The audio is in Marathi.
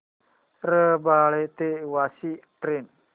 रबाळे ते वाशी ट्रेन